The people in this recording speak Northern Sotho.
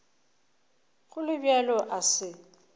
go le bjalo a se